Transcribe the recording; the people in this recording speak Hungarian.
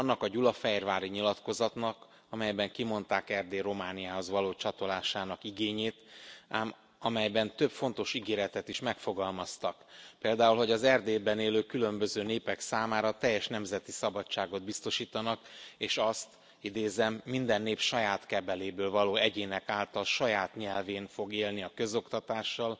Annak a Gyulafehérvári Nyilatkozatnak, amelyben kimondták Erdély Romániához való csatolásának igényét, ám amelyben több fontos ígéretet is megfogalmaztak, például hogy az Erdélyben élő különböző népek számára teljes nemzeti szabadságot biztosítanak, és azt, hogy idézem minden nép saját kebeléből való egyének által, saját nyelvén fog élni a közoktatással